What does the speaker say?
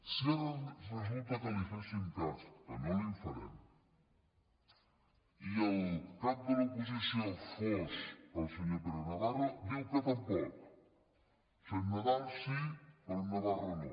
si ara resulta que li féssim cas que no li’n farem i el cap de l’oposició fos el senyor pere navarro diu que tampoc o sigui en nadal sí però en navarro no